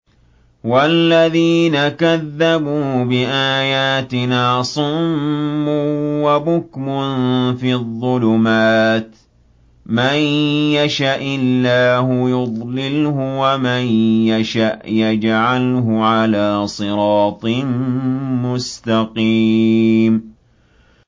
وَالَّذِينَ كَذَّبُوا بِآيَاتِنَا صُمٌّ وَبُكْمٌ فِي الظُّلُمَاتِ ۗ مَن يَشَإِ اللَّهُ يُضْلِلْهُ وَمَن يَشَأْ يَجْعَلْهُ عَلَىٰ صِرَاطٍ مُّسْتَقِيمٍ